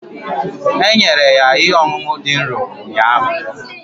E nyere ya ihe ọṅụṅụ dị nro ụnyaahụ